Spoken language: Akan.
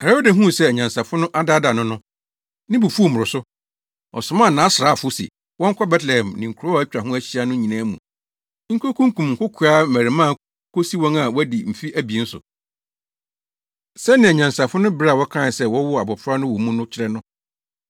Herode huu sɛ anyansafo no adaadaa no no, ne bo fuw mmoroso. Ɔsomaa nʼasraafo se wɔnkɔ Betlehem ne nkurow a atwa ho ahyia no nyinaa mu nkokunkum nkokoaa mmarimaa kosi wɔn a wɔadi mfe abien so, sɛnea anyansafo no bere a wɔkae sɛ wɔwoo abofra no wɔ mu no kyerɛ no.